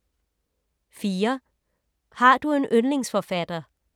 4) Har du en yndlingsforfatter?